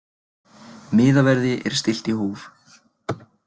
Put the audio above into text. Miðaverði er stillt í hóf.